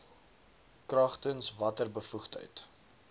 kragtens watter bevoegdheid